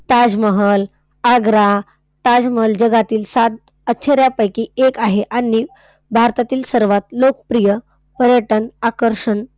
ताजमहल, आग्रा, ताजमहल जगातील सात आश्चर्यांपैकी एक आहे आणि भारतातील सर्वात लोकप्रिय पर्यटन आकर्षण,